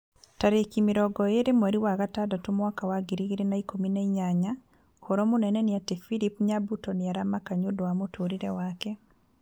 Tarĩki mĩrongo ĩrĩ mweri wa gatandatũ mwaka wa ngiri igĩrĩ na ikũmi na inyanya ũhoro mũnene nĩ ati philip nyabuto nĩ aramaka nĩũndũ wa mũtũrĩre wake